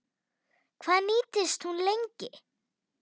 Hvað nýtist hún lengi?